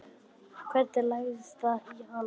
Hvernig lagðist það í hana?